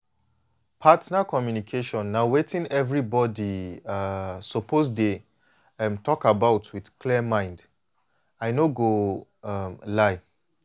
partner communication na wetin everybody um suppose dey talk um about with clear mind i no go um lie